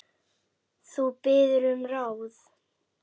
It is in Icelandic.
Þú biður um ráð.